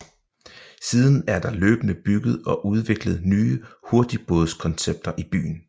Siden er der løbende bygget og udviklet nye hurtigbådskoncepter i byen